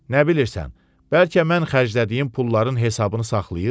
Nə bilirsən, bəlkə mən xərclədiyim pulların hesabını saxlayır?